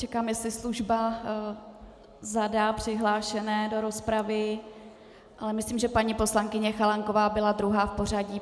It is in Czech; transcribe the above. Čekám, jestli služba zadá přihlášené do rozpravy, ale myslím, že paní poslankyně Chalánková byla druhá v pořadí.